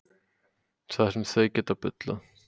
Það sem þau geta bullað.